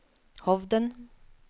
Hovden